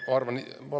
Paluks lisaaega.